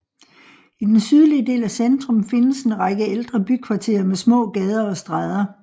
I den sydlige del af centrum findes en række ældre bykvarterer med små gader og stræder